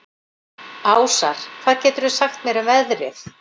Ásar, hvað geturðu sagt mér um veðrið?